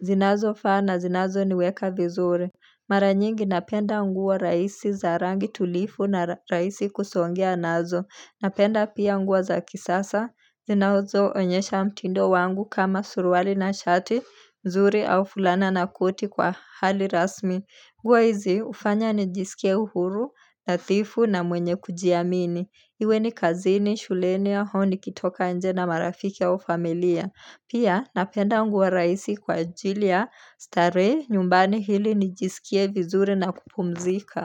zinazofaa na zinazoniweka vizuri Mara nyingi napenda nguo rahisi za rangi tulivu na rahisi kusongea nazo. Napenda pia nguo za kisasa. Zinazoonyesha mtindo wangu kama suruali na shati nzuri au fulana na koti kwa hali rasmi. Nguo hizi ufanya nijisikia huru, nadhifu na mwenye kujiamini. Iwe ni kazini, shuleni au nikitoka nje na marafiki au familia. Pia napenda nguo rahisi kwa ajili ya starehe nyumbani ili nijisikie vizuri na kupumzika.